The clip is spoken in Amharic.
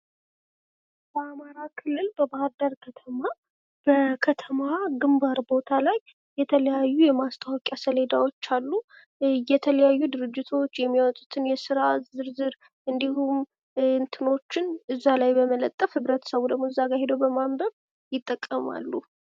የማስታወቂያ ዓይነቶች እንደ ቴሌቪዥን፣ ሬዲዮ፣ ጋዜጣ፣ መጽሔት፣ በይነመረብና የውጪ ማስታወቂያ (ቢልቦርድ) ይለያያሉ።